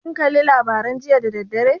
Kin kalla labarai jiya da dadaddare?